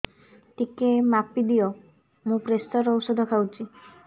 ଟିକେ ମାପିଦିଅ ମୁଁ ପ୍ରେସର ଔଷଧ ଖାଉଚି